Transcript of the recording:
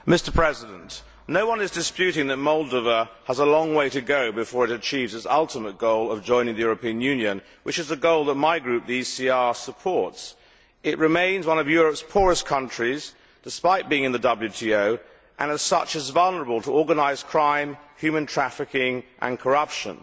Mr President, no one is disputing that Moldova has a long way to go before it achieves its ultimate goal of joining the European Union, which is a goal that my group, the ECR, supports. It remains one of Europe's poorest countries, despite being in the WTO, and, as such, is vulnerable to organised crime, human trafficking and corruption.